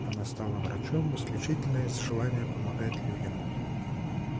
она стала врачом исключительно из желания помогать людям